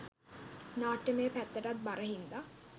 නාට්‍යමය පැත්තටත් බර හින්දා